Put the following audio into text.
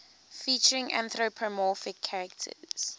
featuring anthropomorphic characters